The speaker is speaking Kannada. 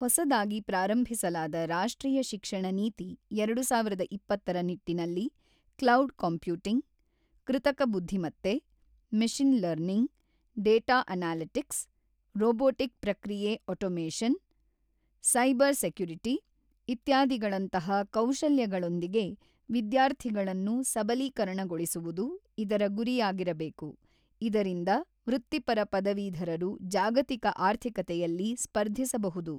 ಹೊಸದಾಗಿ ಪ್ರಾರಂಭಿಸಲಾದ ರಾಷ್ಟ್ರೀಯ ಶಿಕ್ಷಣ ನೀತಿ, ಎರಡು ಸಾವಿರದ ಇಪ್ಪತ್ತರ ನಿಟ್ಟಿನಲ್ಲಿ ಕ್ಲೌಡ್ ಕಂಪ್ಯೂಟಿಂಗ್, ಕೃತಕ ಬುದ್ಧಿಮತ್ತೆ, machine learning, data analytics, robotic ಪ್ರಕ್ರಿಯೆ ಆಟೋಮೇಷನ್, ಸೈಬರ್ ಸೆಕ್ಯುರಿಟಿ, ಇತ್ಯಾದಿಗಳಂತಹ ಕೌಶಲ್ಯಗಳೊಂದಿಗೆ ವಿದ್ಯಾರ್ಥಿಗಳನ್ನು ಸಬಲೀಕರಣಗೊಳಿಸುವುದು ಇದರ ಗುರಿಯಾಗಿರಬೇಕು, ಇದರಿಂದ ವೃತ್ತಿಪರ ಪದವೀಧರರು ಜಾಗತಿಕ ಆರ್ಥಿಕತೆಯಲ್ಲಿ ಸ್ಪರ್ಧಿಸಬಹುದು.